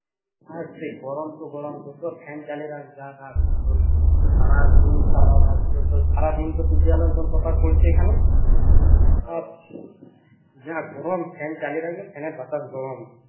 আর যে গরম তো গরম fan চালিয়ে তোর সারাদিন সারারাত তোর সারাদিন তো সূর্যের আলো একদম proper পড়ছে এখানে আর যা গরম fan চালিয়ে রাখলে fan এর বাতাস গরম